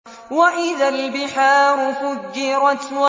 وَإِذَا الْبِحَارُ فُجِّرَتْ